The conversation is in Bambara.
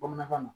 Bamanankan na